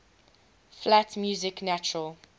flat music natural